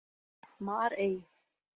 Marey